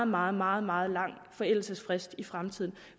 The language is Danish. meget meget meget lang forældelsesfrist i fremtiden